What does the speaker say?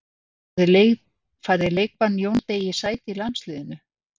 Færði leikbann Jóni Degi sæti í landsliðinu?